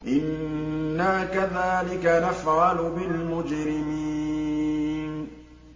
إِنَّا كَذَٰلِكَ نَفْعَلُ بِالْمُجْرِمِينَ